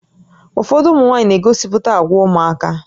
Ụfọdụ ụmụ nwaanyị na-egosipụta àgwà ụmụaka